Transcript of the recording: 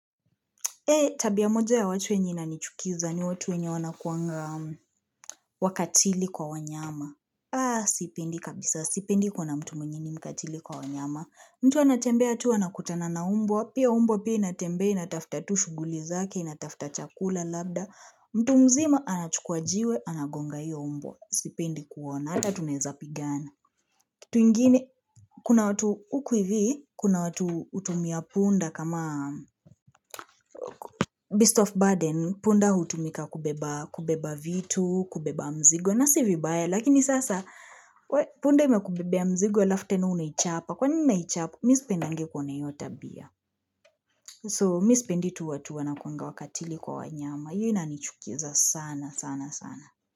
Eh, tabia moja ya watu enye inanichukiza, ni watu wenye wanakuanga wakatili kwa wanyama. Ah, sipendi kabisa, sipendi kuona mtu mwenye ni mkatili kwa wanyama. Mtu anatembea tu anakutana na mbwa, pia mbwa pia inatembea, inatafuta tu shughuli zake, inatafuta chakula labda. Mtu mzima, anachukua jiwe, anagonga hiyo mbwa. Sipendi kuona, ata tunezapigana. Kitu ingine, kuna watu huku hivi, kuna watu hutumia punda kama Beast of Burden. Punda hutumika kubeba, kubeba vitu, kubeba mzigo. Na si vibaya, lakini sasa, punda imekubebea mzigo, alafu tena unaichapa. Kwanini unaichapa, mi sipendangi kuona iyo tabia. So, mi sipendi tu watu wanakuanga wakatili kwa wanyama. Iyo inanichukiza sana, sana, sana.